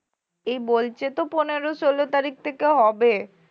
এই বলছে তো পনেরো ষোলো তারিখ থেকে হবে